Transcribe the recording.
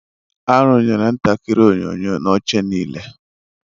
Arụnyere ntakịrị onyonyo na oche niile.